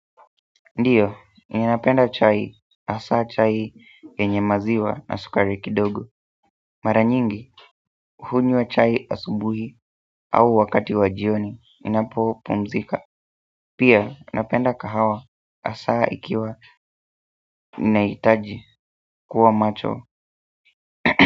Ndio, ninapenda chai hasa chai yenye maziwa na sukari kidogo mara nyingi, hunywa chai asubuhi au wakati wa jioni inapo pumzika pia, napenda kahawa hasa ikiwa ninahitaji kuwa macho.